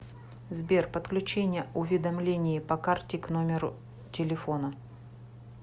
сбер подключение уведомлений по карте к номеру телефона